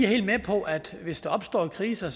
helt med på at hvis der opstår kriser